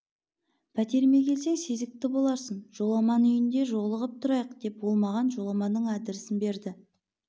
пәтеріме келсең сезікті боларсың жоламан үйінде жолығып тұрайық деп ол маған жоламанның адресін берді